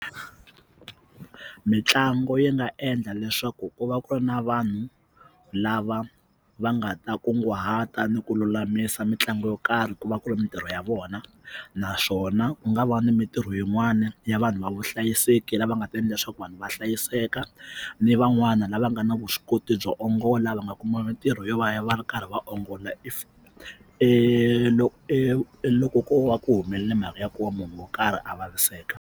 Mitlangu yi nga endla leswaku ku va ku ri na vanhu lava va nga ta kunguhata ni ku lulamisa mitlangu yo karhi ku va ku ri mitirho ya vona naswona ku nga va ni mitirho yin'wana ya vanhu va vuhlayiseki lava nga ta endla leswaku vanhu va hlayiseka ni van'wana lava nga na vuswikoti byo ongola va nga kuma mitirho yo va va ri karhi va ongola if loko ko va ku humelele mhaka ya ku va munhu wo karhi a vaviseka.